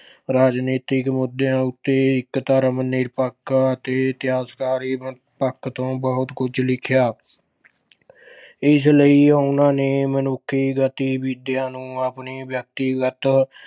ਰਾਜਨੀਤਿਕ ਮੁੱਦਿਆਂ ਉੱਤੇ ਇੱਕ ਧਰਮ ਨਿਰਪੱਖਤਾ ਅਤੇ ਇਤਿਹਾਸਕਾਰੀ ਪੱਖ ਤੋਂ ਬਹੁਤ ਕੁੱਝ ਲਿਖਿਆ। ਇਸ ਲਈ ਉਹਨਾਂ ਨੇ ਮਨੁੱਖੀ ਗਤੀਵਿਧੀਆਂ ਨੂੰ ਆਪਣੇ ਵਿਆਕਤੀਗਤ